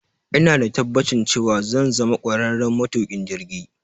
Ina da tabbacin cewa zan zama kwararren matukin jirgi.